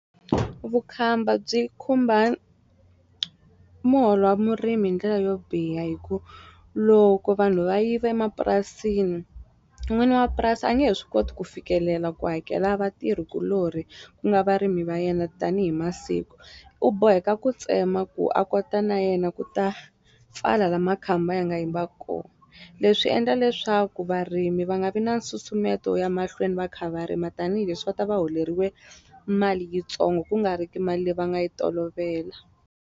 Vukhamba byi khumba muholo wa murimi hi ndlela yo biha hi ku loko vanhu va yiva emapurasini n'wini wa mapurasi a nge he swi koti ku fikelela ku hakela vatirhikulorhi ku nga varimi va yena tanihi masiku u boheka ku tsema ku a kota na yena ku ta pfala la makhamba ya nga yiva ko leswi endla leswaku varimi va nga vi na nsusumeto wo ya mahlweni va kha va rima tanihileswi va ta va holeriwe mali yitsongo ku nga ri ki mali leyi va nga yi tolovela.